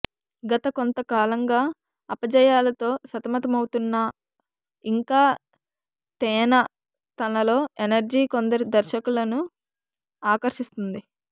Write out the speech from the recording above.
గత కొంత కాలంగా అపజయాలతో సతమతమవుతున్నా ఇంకా తేన తనలో ఎనర్జీ కొందరి దర్శకులను ఆకర్షిస్తోంది